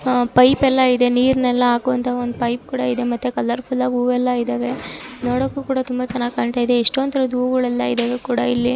ಅಹ್ pipe ಎಲ್ಲ ಇದೆ ನೀರೆಲ್ಲ ಆಕೋಅಂತ ಒಂದ್ ಪೈಪ್ ಕೂಡ ಇದೆ ಮತ್ತೆ ಕಲರ್ಫುಲ್ ಆಗಿ ಹೂವೆಲ್ಲ ಇದಾವೆ. ನೋಡೋಕ್ಕೂ ಕೂಡ ತುಂಬಾ ಚೆನ್ನಾಗಿ ಕಾನ್ತಾಯಿದೆ. ಇಷ್ಟೊಂದ್ ತರಹದ ಹೂವ್ಗಳ ಯಲ್ಲಾ ಇದಾವೆ ಕೂಡಾಇಲ್ಲಿ.